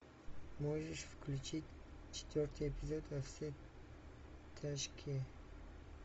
можешь включить четвертый эпизод во все тяжкие